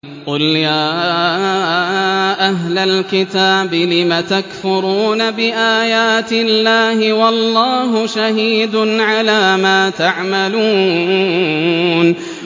قُلْ يَا أَهْلَ الْكِتَابِ لِمَ تَكْفُرُونَ بِآيَاتِ اللَّهِ وَاللَّهُ شَهِيدٌ عَلَىٰ مَا تَعْمَلُونَ